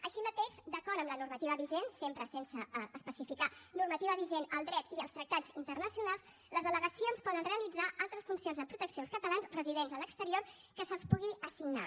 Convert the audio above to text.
així mateix d’acord amb la normativa vigent sempre sense especificar normativa vigent el dret i els tractats internacionals les delegacions poden realitzar altres funcions de protecció als catalans residents a l’exterior que se’ls pugui assignar